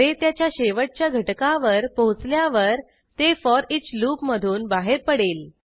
array त्याच्या शेवटच्या घटकावर पोहोचल्यावर ते फोरिच लूप मधून बाहेर पडेल